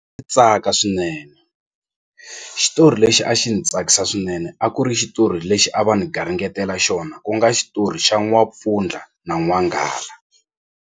Tsaka swinene xitori lexi a xi ni tsakisa swinene a ku ri xitori lexi a va ni garingetela xona ku nga xitori xa n'wampfundla na n'wanghala.